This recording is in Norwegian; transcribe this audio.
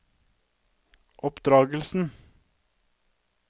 oppdragelsen